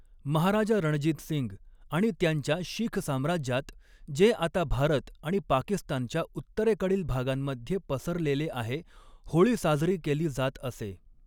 महाराजा रणजित सिंग आणि त्यांच्या शीख साम्राज्यात, जे आता भारत आणि पाकिस्तानच्या उत्तरेकडील भागांमध्ये पसरलेले आहे, होळी साजरी केली जात असे.